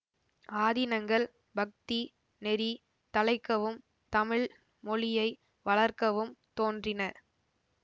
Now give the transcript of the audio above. ஆதீனங்கள் பக்தி நெறி தழைக்கவும் தமிழ் மொழியை வளர்க்கவும் தோன்றின